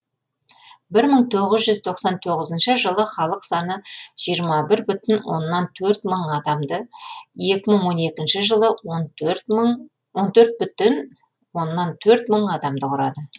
бір мың тоғыз жүз тоқсан тоғызыншы жылы халық саны жиырма бір бүтін оннан төрт мың адамды екі мың он екінші жылы он төрт бүтін оннан төрт мың адамды құрады